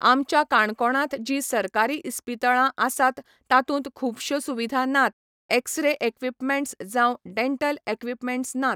आमच्या काणकोणांत जी सरकारी इस्पितळां आसात तातूंत खूबश्यो सुविधा नात एक्स्रे इक्वीपमेन्ट्स जावं डेंटल इक्वीपमेन्ट्स नात